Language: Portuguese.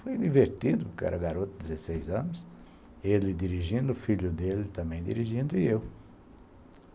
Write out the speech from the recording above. Foi divertido, porque eu era garoto de dezesseis anos, ele dirigindo, o filho dele também dirigindo e eu.